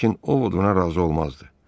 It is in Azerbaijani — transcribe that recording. Lakin Ovod ona razı olmazdı.